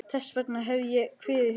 Þess vegna hef ég kviðið fyrir.